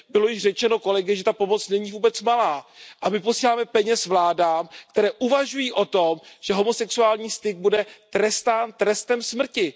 Bylo již řečeno kolegy, že ta pomoc není vůbec malá, a my posíláme peníze vládám, které uvažují o tom, že homosexuální styk bude trestán trestem smrti.